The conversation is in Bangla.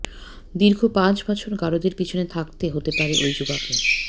দীর্ঘ পাঁচ বছর গারদের পিছনে থাকতে হতে পারে ওই যুবাকে